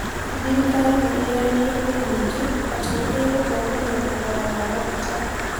thirikari nĩ ĩranĩire kwi mũingĩ atĩ nĩ ĩgũtongoria thogora wa maguta